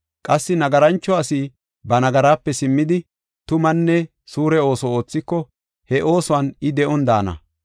Qassi nagarancho asi ba nagaraape simmidi, tumanne suure ooso oothiko, he oosuwan I de7on daana.